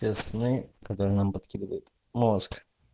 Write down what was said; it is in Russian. те сны которые нам подкидывает мозг